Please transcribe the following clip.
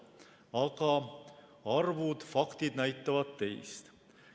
Aga arvud ja faktid näitavad teist.